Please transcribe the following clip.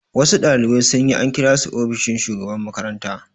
Wasu ɗalibai sun yi, an kira su ofishin shugaban makaranta